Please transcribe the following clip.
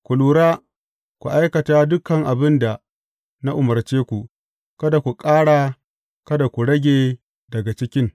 Ku lura, ku aikata dukan abin da na umarce ku; kada ku ƙara, kada ku rage daga cikin.